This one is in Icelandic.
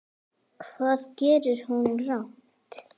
Hvað gerði hún rangt?